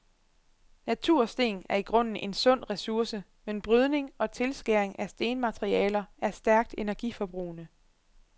Natursten er i grunden en sund ressource, men brydning og tilskæring af stenmaterialer er stærkt energiforbrugende.